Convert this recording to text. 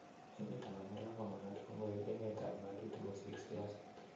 Emeet ap Amerika komagaat kong'koek emeet ap Ng'atutik kosiir siaseet